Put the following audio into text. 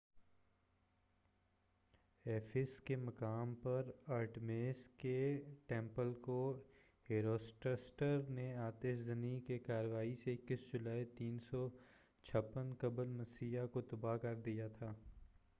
Ephesus کے مقام پر آرٹیمس کے ٹمپل کو ہیروسٹراٹس نے آتش زنی کی کارروائی سے 21 جولائی 356 قبلِ مسیح کو تباہ کر دیا تھا